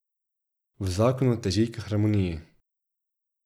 V zakonu teži k harmoniji.